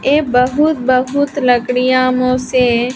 ए बहुत बहुत लकड़ियां मुझसे --